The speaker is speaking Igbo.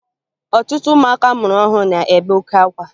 Ọtụtụ ụmụaka a mụrụ ọhụrụ na-ebe oke akwa